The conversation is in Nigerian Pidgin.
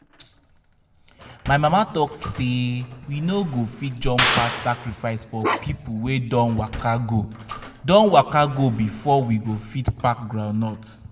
my mama talk say we no fit jump pass sacrifice for people wey don waka go don waka go before we go fit pack groundnut.